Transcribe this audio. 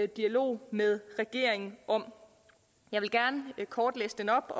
dialog med regeringen om jeg vil gerne kort læse den op